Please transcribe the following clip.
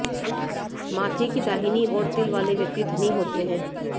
माथे की दाहिनी ओर तिल वाले व्यक्ति धनी होते हैं